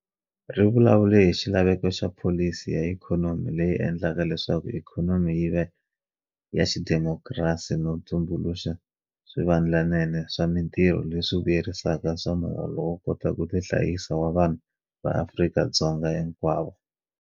Ri vulavule hi xilaveko xa pholisi ya ikhonomi leyi endlaka leswaku ikhonomi yi va ya xidemokirasi no tumbuluxa swivandlanene swa mitirho leswi vuyerisaka swa muholo wo kota ku tihanyisa wa vanhu va Afrika-Dzonga hinkwavo.